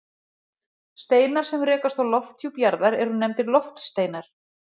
steinar sem rekast á lofthjúp jarðar eru nefndir loftsteinar